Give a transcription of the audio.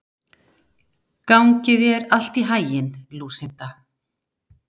Gangi þér allt í haginn, Lúsinda.